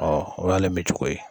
Ɔ o y'ale mi cogo ye